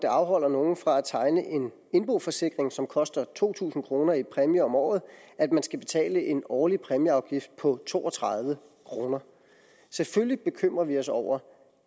afholder nogen fra at tegne en indboforsikring som koster to tusind kroner i præmie om året at man skal betale en årlig præmieafgift på to og tredive kroner selvfølgelig bekymrer vi os over